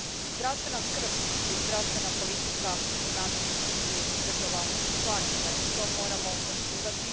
Zdravstvena skrb i zdravstvena politika u nadležnosti su država članica i to moramo poštivati.